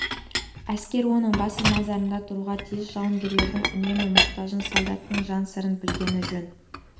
әскер оның басты назарында тұруға тиіс жауынгердің үнемі мұқтажын солдаттың жан сырын білгені жөн